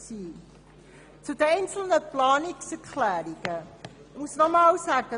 Zu den Planungserklärungen muss ich noch einmal sagen: